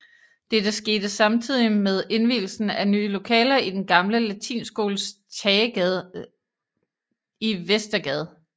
Dette skete samtidig med indvielsen af nye lokaler i den gamle latinskoles tagetage i Vestergade